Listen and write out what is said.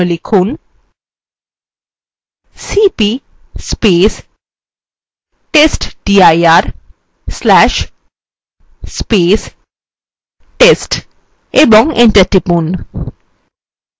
for জন্য লিখুন cp testdir/test ও enter টিপুন